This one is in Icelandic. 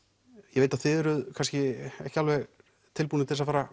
ég veit að þið eruð kannski ekki alveg tilbúnir til þess að fara